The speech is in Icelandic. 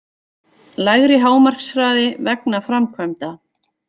Lægri hámarkshraði vegna framkvæmda